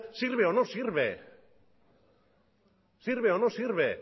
sirve o no sirve sirve o no sirve